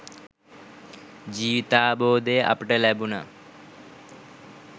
ජීවිතාවබෝධය අපට ලැබුනා.